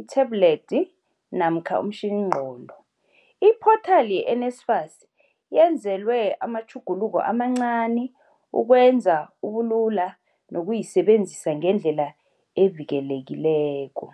ithablethi namkha umtjhiningqondo. Iphothali ye-NSFAS yenzelwe amatjhuguluko amancani ukwenza ubulula nokuyisebenzisa ngendlela evikelekileko.